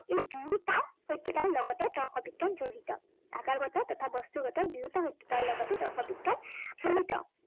দুয়োটা সত্য়তাৰ লগতে তৰ্ক বিজ্ঞান জড়িত। আকাৰগত তথা বস্তুগত দুয়োটা সত্য়তাৰ লগতে তৰ্ক বিজ্ঞান জড়িত।